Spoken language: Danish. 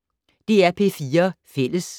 DR P4 Fælles